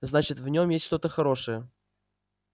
значит в нём есть что-то хорошее